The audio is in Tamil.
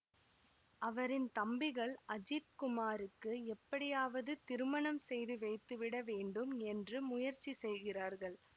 அவரின் தம்பிகள் அஜித் குமாருக்கு எப்படியாவது திருமணம் செய்து வைத்துவிட வேண்டும் என்று முயற்சி செய்கிறார்கள்